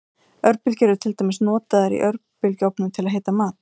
Örbylgjur eru til dæmis notaður í örbylgjuofnum til að hita mat.